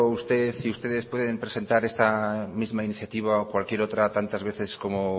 usted y ustedes pueden presentar esta misma iniciativa o cualquier otra tantas veces como